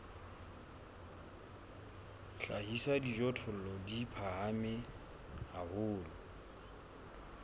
hlahisa dijothollo di phahame haholo